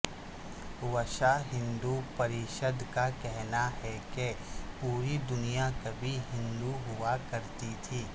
وشو ہندو پریشد کا کہنا ہے کہ پوری دنیا کبھی ہندو ہوا کرتی تھی